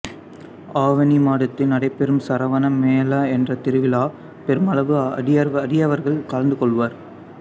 ஆவணி மாதத்தில் நடைபெறும் சிராவண மேளா என்ற திருவிழாவில் பெருமளவு அடியவர்கள் கலந்துகொள்வர்